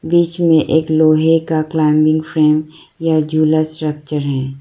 बीच में एक लोहे का क्लाइंबिंग फ्रेम या झूला स्ट्रक्चर है।